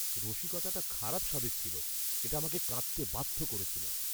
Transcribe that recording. রসিকতাটি খারাপ স্বাদের ছিল; এটা আমাকে কাঁদতে বাধ্য করেছিল।